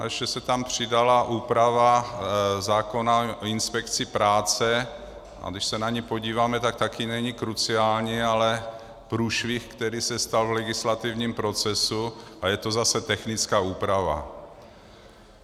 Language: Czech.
A ještě se tam přidala úprava zákona o inspekci práce, a když se na ni podíváme, tak taky není kruciální, ale průšvih, který se stal v legislativním procesu, a je to zase technická úprava.